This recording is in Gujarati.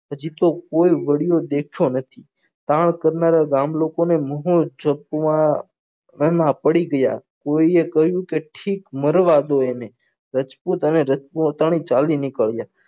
હજી તો કોઈ વળ્યો દેખતો નથી કામ કરતાં ગામ લોકોને મુરત જોતા પડી ગયા કોઈએ કહ્યું કે ઠીક મરવા દો એને રજપૂત અને રજપૂતાણી ચાલી નીકળ્યા